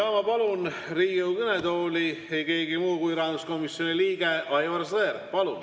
Ma palun Riigikogu kõnetooli ei kellegi muu kui rahanduskomisjoni liikme Aivar Sõerdi.